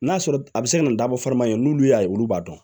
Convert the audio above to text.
N'a sɔrɔ a bɛ se ka na dabɔ farima ye n'olu y'a ye olu b'a dɔn